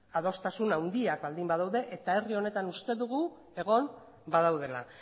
adostasun handiak baldin badaude eta herri honetan uste dugu egon badaudela